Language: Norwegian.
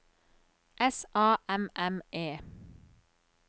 S A M M E